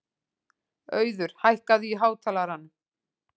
Auður, hækkaðu í hátalaranum.